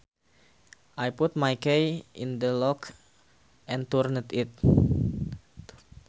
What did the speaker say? I put my key in the lock and turned it